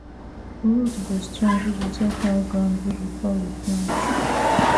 root go strong if we check how ground be before we plant